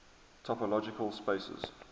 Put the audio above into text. topological spaces